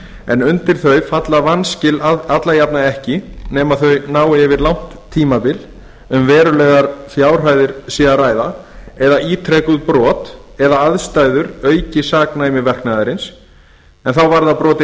en undir þau falla vanskil alla jafna ekki nema þau nái yfir langt tímabil um verulegar fjárhæðir sé að ræða eða ítrekuð brot eða ef aðstæður auka saknæmi verknaðarins en þá varða brotin